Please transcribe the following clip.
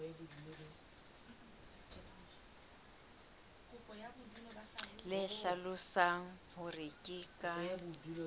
le hlalosang hore ke ka